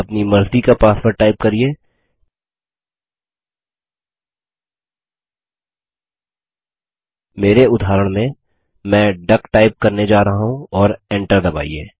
अपनी मर्ज़ी का पासवर्ड टाइप करिये मेरे उदाहरण में मैं डक टाइप करने जा रहा हूँ और Enter दबाइए